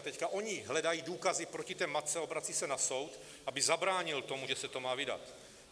A teď oni hledají důkazy proti té matce, obracejí se na soud, aby zabránil tomu, že se to má vydat.